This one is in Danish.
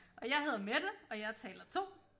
Og jeg hedder Mette og jeg er taler 2